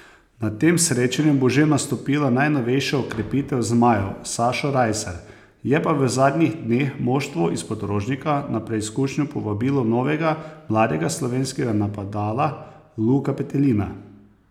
Na tem srečanju bo že nastopila najnovejša okrepitev zmajev, Sašo Rajsar, je pa v zadnjih dneh moštvo izpod Rožnika na preizkušnjo povabilo novega mladega slovenskega napadala Luka Petelina.